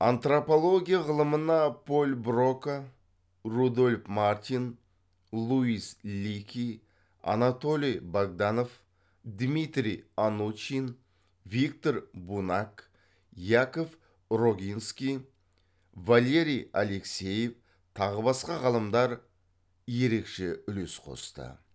антропология ғылымына поль брока рудольф мартин луис лики анатолий богданов дмитрий анучин виктор бунак яков рогинский валерий алексеев тағы басқа ғалымдар ерекше үлес қосты